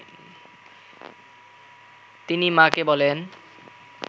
তিনি মা’কে বলেন